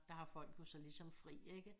Der har folk jo så ligesom fri ikke